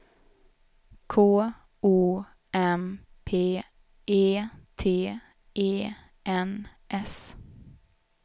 K O M P E T E N S